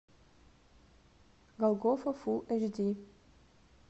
голгофа фул эйч ди